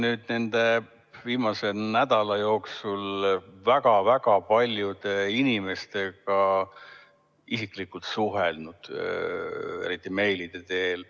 Ma olen viimaste nädalate jooksul väga-väga paljude inimestega isiklikult suhelnud, eriti meilide teel.